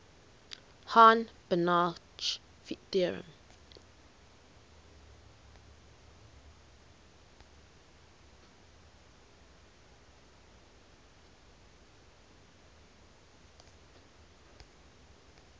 hahn banach theorem